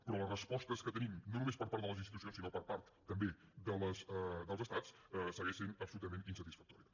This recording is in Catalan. però les respostes que tenim no només per part de les institucions sinó per part també dels estats segueixen sent absolutament insatisfactòries